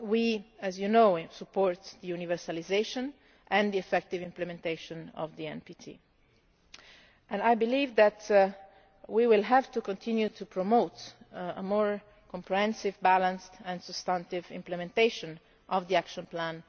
We, as you know, support the universalisation and the effective implementation of the NPT. I believe that we will have to continue to promote a more comprehensive, balanced and substantive implementation of the Action